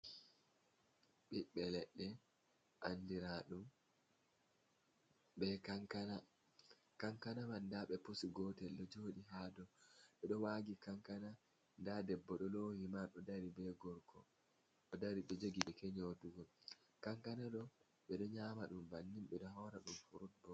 Ɓiɓbe leɗɗe andira ɗum be kankana, kankana man nda ɓe pusi gotel ɗo jooɗi ha dou, ɓe ɗo waagi kankana, nda debbo ɗo lowi himar ɗo dari be gorko, ɗo dari ɗo jogi keke nyotugo, kankana ɗo ɓe ɗo nyama ɗum bannin ɓe ɗo haura ɗum furut bo.